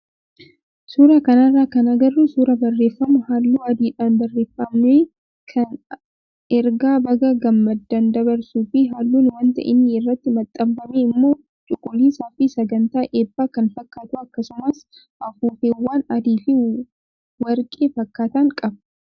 Suuraa kanarraa kan agarru suuraa barreeffama halluu adiidhaan barreeffame kan ergaa baga gammaddee dabarsuu fi halluun wanta inni irratti maxxanfamee immoo cuquliisaa fi sagantaa eebbaa kan fakkaatu akkasumas afuuffeewwan adii fi warqee fakkaatan qaba.